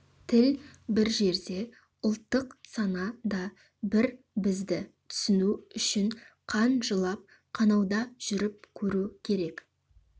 тіл бір жерде ұлттық сана да бір бізді түсіну үшін қан жылап қанауда жүріп көру керек